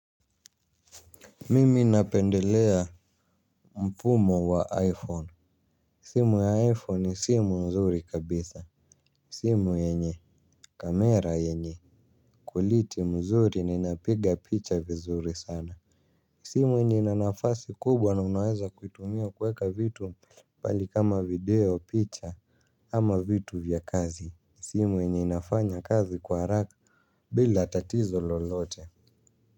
Mimi napendelea mfumo wa iPhone. Simu ya iPhone ni simu nzuri kabisa. Simu yenye kamera yenye quality mzuri ninapiga picha vizuri sana. Simu yenye ina nafasi kubwa na unaweza kuitumia kueka vitu pale kama video picha. Ama vitu vya kazi. Simu yenye inafanya kazi kwa haraka bila tatizo lolote.